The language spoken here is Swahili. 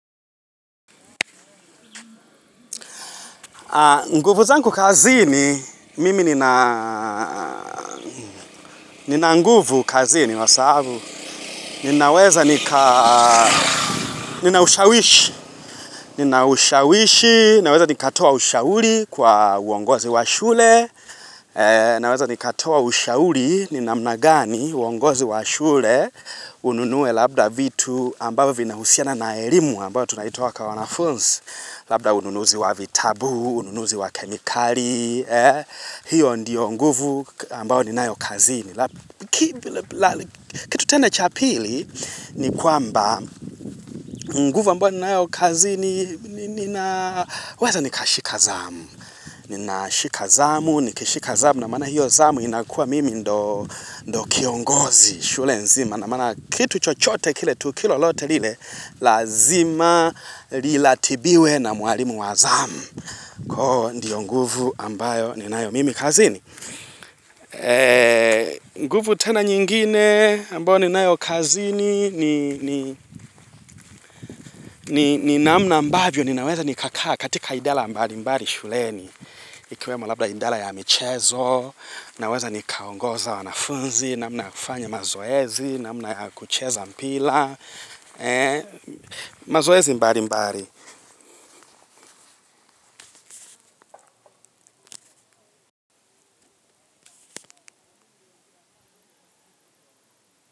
Nguvu zanku kazini, mimi nina nina nguvu kazini, wasabu, ninaweza nika, ninaushawishi, ninaushawishi, naweza nikatoa ushauri kwa uongozi wa shule, naweza nikatoa ushauri, ni namna gani, uongozi wa shule, ununue labda vitu ambayo vina husiana na elimu ambayo tunaitoa kwa wanafunsi, Labda ununuzi wa vitabu, ununuzi wa kemikali, hiyo ndiyo nguvu ambao ni nayo kazini. Kitu tena cha pili ni kwamba nguvu ambao ni nayo kazini, ninaweza nikashika zamu. Ninashika zamu, nikishika zamu na maana hiyo zamu inakuwa mimi ndo kiongozi, shule nzima. Na maana kitu chochote kile tu kilo lote lile, lazima lilatibiwe na mwalimu wa zamu. Koo ndio nguvu ambayo ni nayo mimi kazini. Nguvu tena nyingine ambayo ni nayo kazini ni namna ambabyo ni naweza nikakaa katika idala mbali mbali shuleni. Ikiwemo lamba indala ya michezo, naweza nikaongoza wanafunzi, naamna ya kufanya mazoezi, naamna ya kucheza mpila. Mazoesi mbari mbari.